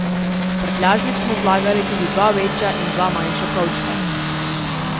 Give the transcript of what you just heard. V prtljažnik smo zlagali tudi dva večja in dva manjša kovčka.